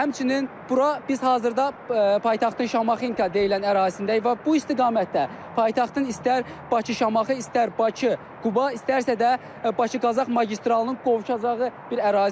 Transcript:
Həmçinin bura biz hazırda paytaxtın Şamaxınka deyilən ərazisindəyik və bu istiqamətdə paytaxtın istər Bakı-Şamaxı, istər Bakı-Quba, istərsə də Bakı-Qazax magistralının qovuşacağı bir ərazidir.